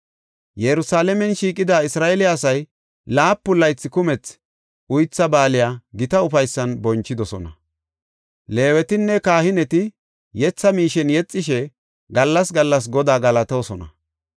Yerusalaamen shiiqida Isra7eele asay laapun gaalasi kumethi Uytha Baaliya gita ufaysan bonchidosona. Leewetinne kahineti yetha miishen yexishe gallas gallas Godaa galatoosona.